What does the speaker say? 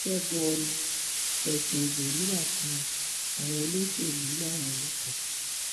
ṣẹgun ọnì fẹsùn ìbò rírà kan àwọn olóṣèlú láwọn ìlú kan